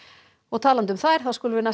þá skulum við